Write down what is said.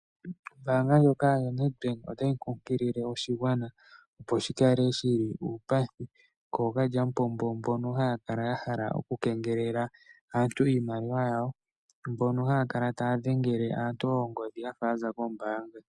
Ombaanga ndjoka yaNedbank otayi kunkilile oshigwana opo shikale shili uupathi kookalya mupombo mbono haya kala yahala okukengelela aantu iimaliwa yawo, mbono haya kala taya dhengele aantu oongodhi yafa yaza kombaanga.